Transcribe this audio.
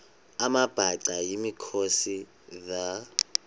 amabhaca yimikhosi the